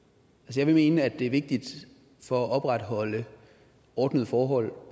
jeg vil mene at det er vigtigt for at opretholde ordnede forhold